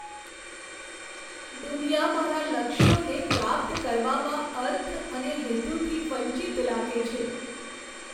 દુનિયા મારા લક્ષ્યોને પ્રાપ્ત કરવામાં અર્થ અને હેતુથી વંચિત લાગે છે.